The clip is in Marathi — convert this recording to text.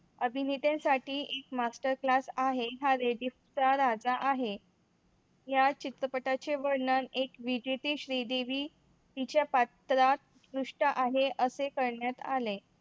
अभिनेत्रीसाठी एक master class आहे. Highway Deep चा राजा आहे. या चित्रपटाचे वर्णन एक विजेते श्रीदेवी तिच्या पाटला त पृष्ठ आहे असे करण्यात आले.